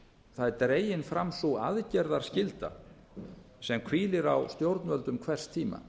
það er dregin sú aðgerðaskylda sem hvílir á stjórnvöldum hvers tíma